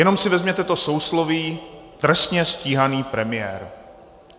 Jenom si vezměte to sousloví trestně stíhaný premiér.